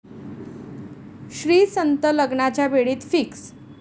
श्रीसंत लग्नाच्या बेडीत 'फिक्स'